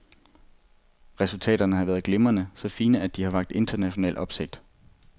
Resultaterne har været glimrende, så fine, at de har vakt international opsigt.